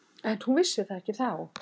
En hún vissi það ekki þá.